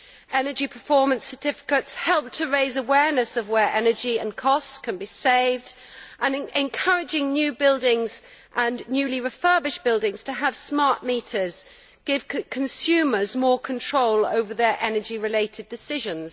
Energy performance certificates help to raise awareness of where energy and costs can be saved, and encouraging new buildings and newly refurbished buildings to have smart meters give consumers more control over their energy related decisions.